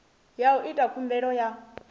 ya u ita khumbelo ya